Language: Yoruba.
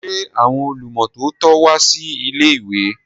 Ṣé àwọn olùmọ́tótó wá sí ilé-ìwé?